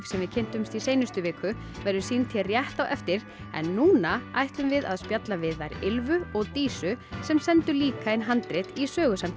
sem við kynntumst í seinustu viku verður sýnd hér rétt á eftir en núna ætlum við að spjalla við þær og Dísu sem sendu líka inn handrit í